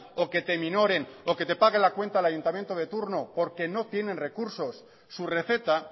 o que te minoren o que te pague la cuenta el ayuntamiento de turno porque no tienen recursos su receta